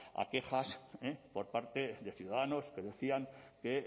a quejas por parte de ciudadanos que decían que